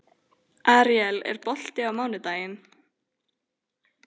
Aríel, er bolti á mánudaginn?